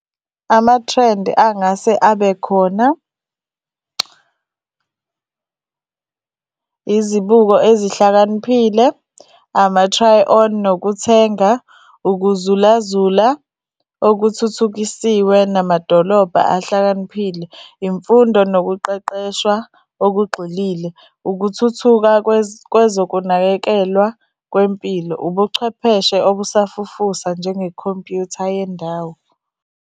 Amathrendi angase abe khona, izibuko ezihlakaniphile, ama-try-on nokuthenga, ukuzulazula okuthuthukisiwe namadolobha ahlakaniphile, imfundo nokuqeqeshwa okugxilile, ukuthuthuka kwezokunakekelwa kwempilo, ubuchwepheshe obusafufusa nje ngekhompuyutha yendawo.